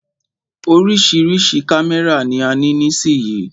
Oríṣiríṣi kámẹ́rà ni a ní nísìyí.